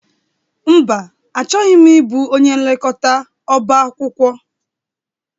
Mba, Achọghị m ịbụ onye nlekọta ọbá akwụkwọ.